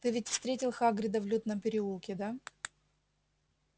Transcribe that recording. ты ведь встретил хагрида в лютном переулке да